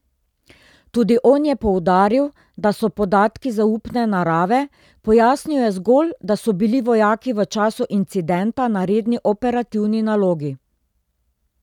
Tudi on je poudaril, da so podatki zaupne narave, pojasnil je zgolj, da so bili vojaki v času incidenta na redni operativni nalogi.